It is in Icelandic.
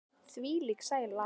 Þvílík sæla.